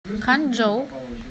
ханчжоу